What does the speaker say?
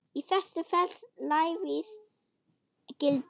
Í þessu felst lævís gildra.